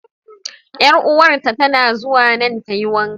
Yar'uwar ta tana zuwa nan ta yi wanka.